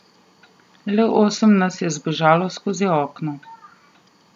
Le osem nas je zbežalo skozi okno.